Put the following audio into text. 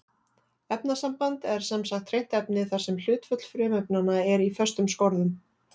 Efnasamband er sem sagt hreint efni þar sem hlutföll frumefnanna er í föstum skorðum.